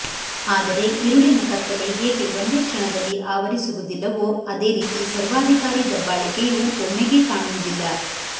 ಆದರೆ ಇರುಳಿನ ಕತ್ತಲೆ ಹೇಗೆ ಒಂದೇ ಕ್ಷಣದಲ್ಲಿ ಆವರಿಸುವುದಿಲ್ಲವೋ ಅದೇ ರೀತಿ ಸರ್ವಾಧಿಕಾರಿ ದಬ್ಬಾಳಿಕೆಯೂ ಒಮ್ಮೆಗೇ ಕಾಣುವುದಿಲ್ಲ